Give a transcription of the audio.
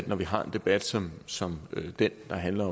når vi har en debat som som den der handler